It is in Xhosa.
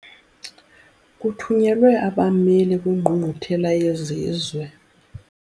Kuthunyelwe abameli kwingqungquthela yezizwe.